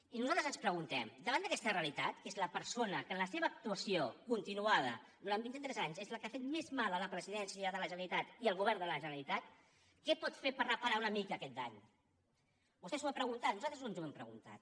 i nosaltres ens preguntem davant d’aquesta realitat que és la persona que en la seva actuació continuada durant vint i tres anys ha fet més mal a la presidència de la generalitat i al govern de la generalitat què pot fer per reparar una mica aquest dany vostè s’ho ha preguntat nosaltres ens ho hem preguntat